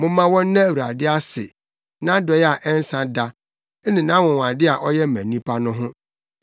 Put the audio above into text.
Momma wɔnna Awurade ase, nʼadɔe a ɛnsa da ne nʼanwonwade a ɔyɛ ma nnipa no ho,